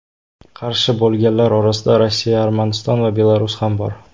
Qarshi bo‘lganlar orasida Rossiya, Armaniston va Belarus ham bor.